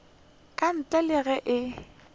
ka ntle le ge e